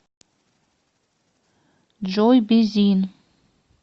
джой бизин